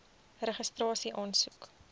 registrasieaansoek